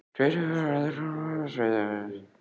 Hver hefur aðgang að skeytunum á skrifstofunni hjá þér?